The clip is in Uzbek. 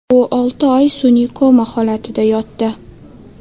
U olti oy sun’iy koma holatida yotdi.